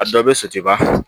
A dɔ bɛ soti ba fɛ